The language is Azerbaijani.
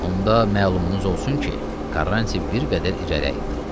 Onda məlumunuz olsun ki, Karanti bir qədər irəliləyildi.